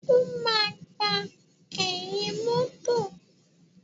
O máa gbà ẹ̀yìn mọ́tọ̀.